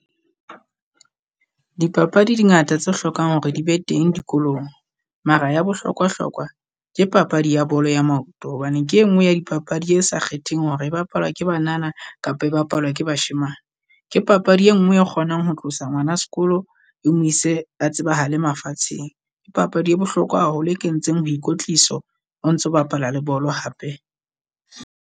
Dipapadi di ngata tse hlokang hore di be teng dikolong. Mara ya bohlokwa-hlokwa ke papadi ya bolo ya maoto, hobane ke e nngwe ya dipapadi e sa kgetheng hore e bapalwa ke banana kapa e bapalwa ke bashemane. Ke papadi e nngwe e kgonang ho tlosa ngwana sekolo e mo ise a tsebahale mafatsheng. Ke papadi e bohlokwa haholo e kentseng ho ikotliso, o ntso bapala le bolo hape.